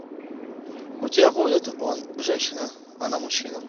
у тебя будет он женщина она мужчина